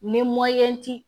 Ni